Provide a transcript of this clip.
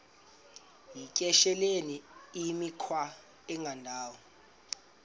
yityesheleni imikhwa engendawo